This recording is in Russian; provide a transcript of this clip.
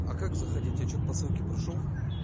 а как заходить я что-то посылки прошёл